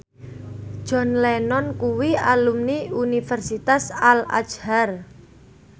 John Lennon kuwi alumni Universitas Al Azhar